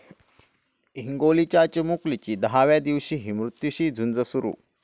हिंगोलीच्या चिमुकलीची दहाव्या दिवशीही मृत्यूशी झुंज सुरू!